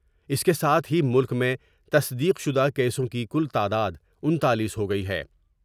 اس کے ساتھ ہی ملک میں تصدیق شدہ کیسوں کی کل تعداد انتالیس ہوگئی ہے ۔